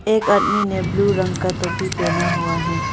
एक आदमी ने ब्लू रंग का तोपी पहना हुआ है।